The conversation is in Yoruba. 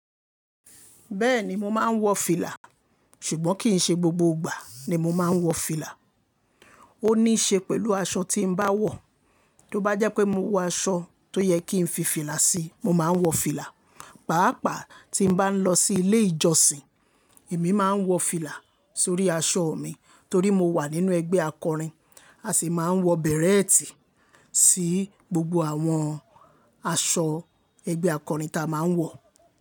Bẹ́ẹ̀ni mo máa ń wọ fìlà, ṣùgbọ́n kì í ṣe gbogbo ìgbà ni mo máa ń wọ fìlà. Ó ní ṣe pẹ̀lú aṣọ tí ń bá wọ̀. Tí ó bá jẹ́ pé mo wọ aṣọ tó yẹ kí ń fi fìlà sí, mo máa ń wọ fìlà. Pàápàá tí ń bá ń lọ sí ilé ìjọsìn, èmi máa ń wọ fìlà sórí aṣọ mi torí mo wà nínú ẹgbẹ́ akọrin. A sì máa ń wọ bẹ̀rẹ́ẹ̀tì sí gbogbo àwọn aṣọ ẹgbẹ́ akọrin ta a máa ń wọ̀